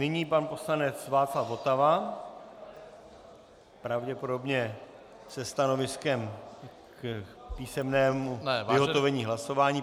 Nyní pan poslanec Václav Votava, pravděpodobně se stanoviskem k písemnému vyhotovení hlasování.